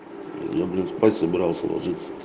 люблю спать собирался ложиться